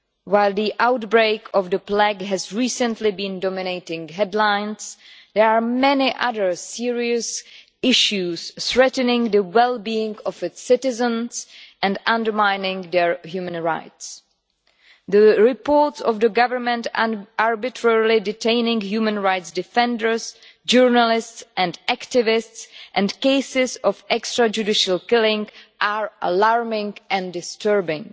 While the outbreak of the plague has recently been dominating the headlines, there are many other serious issues threatening the well-being of its citizens and undermining their human rights. The reports of the government arbitrarily detaining human rights defenders, journalists and activists, and the cases of extrajudicial killing, are alarming and disturbing.